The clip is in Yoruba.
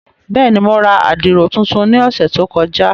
Bẹ́ẹ̀ni, Mo rà àdiro tuntun ni ọsẹ to kọja.